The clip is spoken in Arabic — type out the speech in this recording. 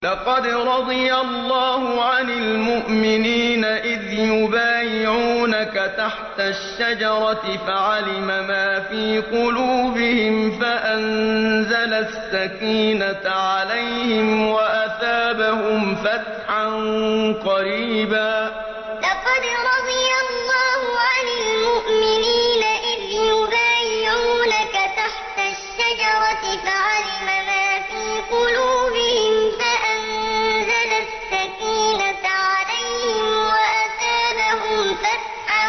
۞ لَّقَدْ رَضِيَ اللَّهُ عَنِ الْمُؤْمِنِينَ إِذْ يُبَايِعُونَكَ تَحْتَ الشَّجَرَةِ فَعَلِمَ مَا فِي قُلُوبِهِمْ فَأَنزَلَ السَّكِينَةَ عَلَيْهِمْ وَأَثَابَهُمْ فَتْحًا قَرِيبًا ۞ لَّقَدْ رَضِيَ اللَّهُ عَنِ الْمُؤْمِنِينَ إِذْ يُبَايِعُونَكَ تَحْتَ الشَّجَرَةِ فَعَلِمَ مَا فِي قُلُوبِهِمْ فَأَنزَلَ السَّكِينَةَ عَلَيْهِمْ وَأَثَابَهُمْ فَتْحًا